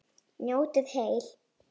Njótið heil.